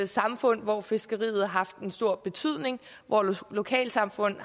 samfund hvor fiskeriet har haft en stor betydning hvor lokalsamfund